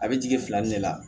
A bɛ jigin filanin de la